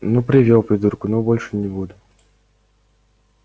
ну привёл придурка ну больше не буду